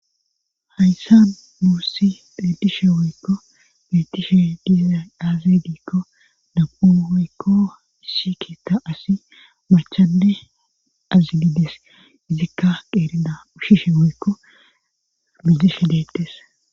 Hayssa muussi pedishe woykko betishe diizay aazidikko dab7u wuykko isshi keetta asi machanne azidides izikka qeerida ushshishe woykko mizishe detes